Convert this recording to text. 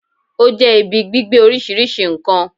Ó jẹ́ ibi gbígbé oríṣìíríṣìí n kan